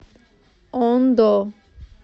ондо